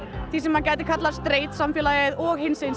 því sem gæti kallast sreit samfélagið og í hinsegin